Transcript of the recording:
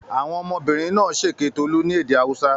Àwọn ọmọbìnrin náà ṣèké Tolú ní èdè Haúsá?